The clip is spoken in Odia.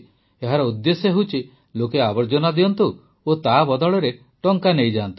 ଏହାର ଉଦ୍ଦେଶ୍ୟ ହେଉଛି ଲୋକେ ଆବର୍ଜନା ଦିଅନ୍ତୁ ଓ ତା ବଦଳରେ ଟଙ୍କା ନେଇଯାଆନ୍ତୁ